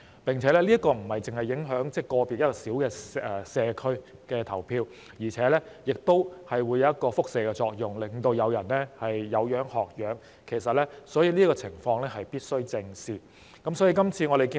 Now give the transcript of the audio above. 而且，這樣不單會影響個別社區的投票，亦會產生輻射作用，令其他人有樣學樣，所以這個情況必須正視。